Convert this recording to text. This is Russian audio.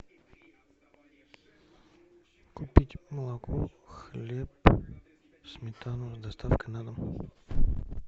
купить молоко хлеб сметану с доставкой на дом